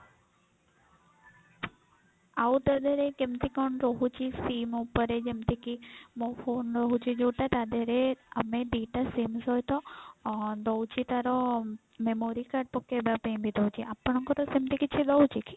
ଆଉ ତା ଧିଅରେ ରେ କେମତି କଣ ରହୁଛି sim ଉପରେ ଯେମତି କି ମୋ phone ର ହଉଛି ଯଉଟା ତା ଧିଅରେ ଆମେ ଦି ଟା sim ସହିତ ଦଉଛି ତାର memory card ପକେଇବା ପାଇଁ ବି ଦଉଛି ଆପଣଙ୍କର ସେମତି କିଛି ଦଉଛି କି?